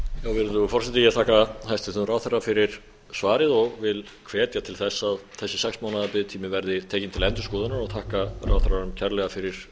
virðulegur forseti ég þakka hæstvirtum ráðherra fyrir svarið og vil hvetja til þess að þessi sex mánaða biðtími verði tekinn til endurskoðunar og þakka ráðherranum kærlega fyrir